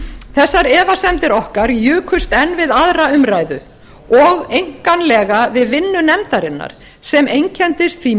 þessar efasemdir okkar jukust enn við aðra umræðu og einkanlega við vinnu nefndarinnar sem einkenndist því